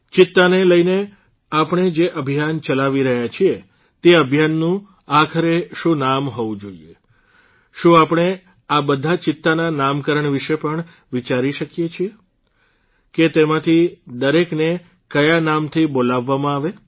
ચિત્તાને લઇને આપણે જે અભિયાન ચલાવી રહ્યા છીએ તે અભિયાનનું આખરે શું નામ હોવું જોઇએ શું આપણે આ બધા ચિત્તાના નામકરણ વિષે પણ વિચારી શકીએ છીએ કે તેમાંથી દરેકને ક્યા નામથી બોલાવવામાં આવે